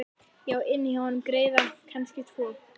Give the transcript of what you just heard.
Ég á inni hjá honum greiða, kannski tvo.